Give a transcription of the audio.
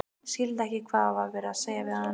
Skildi ekki hvað var verið að segja við hann.